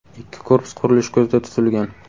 Ikki korpus qurilishi ko‘zda tutilgan.